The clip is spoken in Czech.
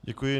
Děkuji.